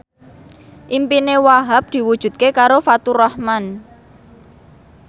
impine Wahhab diwujudke karo Faturrahman